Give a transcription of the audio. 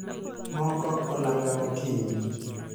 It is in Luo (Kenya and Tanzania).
moko olanga mokinyi